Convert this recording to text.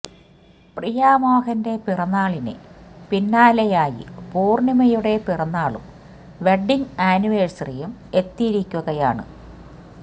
പ്രിയ മോഹന്റെ പിറന്നാളിന് പിന്നാലെയായി പൂര്ണിമയുടെ പിറന്നാളും വെഡ്ഡിങ് ആനിവേഴ്സറിയും എത്തിയിരിക്കുകയാണ്